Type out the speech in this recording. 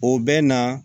O bɛ na